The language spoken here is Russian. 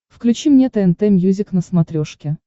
включи мне тнт мьюзик на смотрешке